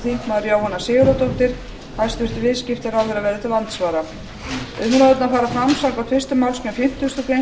þingmenn jóhanna sigurðardóttir hæstvirtur viðskiptaráðherra verður til andsvara umræðurnar fara fram samkvæmt fyrstu málsgrein fimmtugustu grein